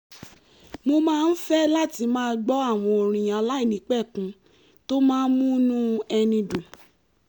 mo máa ń fẹ́ láti máa gbọ́ àwọn orin aláìnípẹ̀kun tó máa ń múnú ẹni dùn